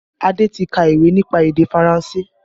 Adé ti ka ìwé nípa èdè Faranse